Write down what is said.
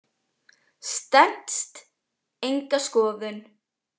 Stenst enga skoðun.